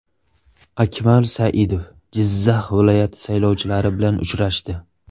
Akmal Saidov Jizzax viloyati saylovchilari bilan uchrashdi.